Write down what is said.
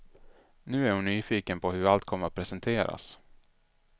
Nu är hon nyfiken på hur allt kommer att presenteras.